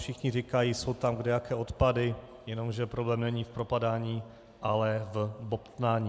Všichni říkají, jsou tam kdejaké odpady, jenomže problém není v propadání, ale v bobtnání.